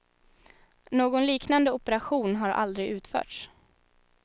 Någon liknande operation har aldrig utförts.